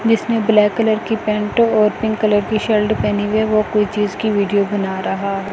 जिसने black colour की pant और पिंक कलर की शर्ट पहनी हुई है वो कोई चीज की वीडियो बना रहा--